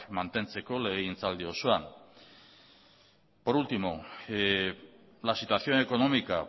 mantentzeko legegintzaldi osoan por último la situación económica